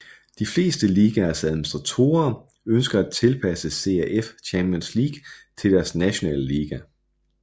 De fleste ligaers administratorer ønsker at tilpasse CAF Champions League til deres nationale liga